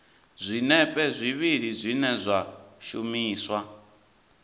zwinepe zwivhili zwine zwa shumiswa